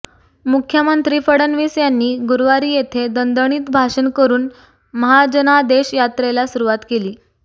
मुख्यमंत्री फडणवीस यांनी गुरुवारी येथे दणदणीत भाषण करून महाजनादेश यात्रेला सुरुवात केली